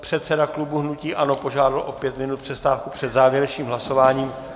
Předseda klubu hnutí ANO požádal o pět minut přestávky před závěrečným hlasováním.